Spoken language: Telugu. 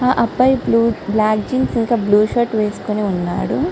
ఆ అబ్బాయి బ్లూ బ్లాక్ జీన్ ఇంకా బ్లూ షర్ట్ వేసుకుని ఉన్నాడు.